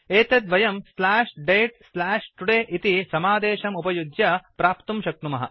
एतत् वयं slash date slash today इति समादेशम् उपयुज्य प्राप्तुं शक्नुमः